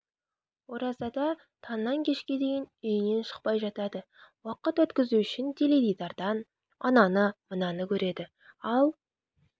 оразада таңнан кешке дейін үйінен шықпай жатады уақыт өткізу үшін теледидардан ананы мынаны көреді ал